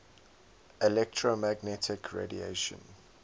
electromagnetic radiation